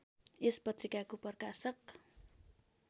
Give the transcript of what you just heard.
यस पत्रिकाको प्रकाशक